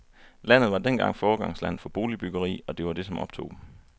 Landet var dengang foregangsland for boligbyggeri, og det var det, som optog dem.